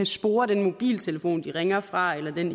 spore den mobiltelefon de ringer fra eller den